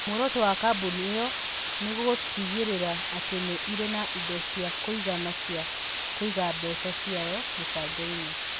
Muoroto wa kambuni ĩyo nĩ gũtigĩrĩra atĩ nĩ ĩrĩ na indo cia kũigana cia kũiga mbeca ciayo mĩbango-inĩ.